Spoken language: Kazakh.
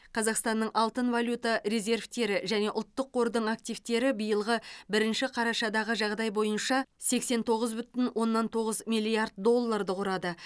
қазақстанның алтын валюта резервтері және ұлттық қордың активтері биылғы бірінші қарашадағы жағдай бойынша сексен тоғыз бүтін оннан тоғыз миллиард долларды құрады